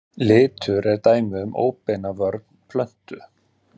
Litur er dæmi um óbeina vörn plöntu.